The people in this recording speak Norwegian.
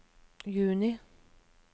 juni